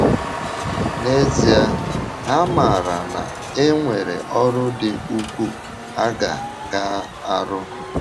N’ezie, ha maara na e nwere ọrụ dị ukwuu a ga - ga - arụ.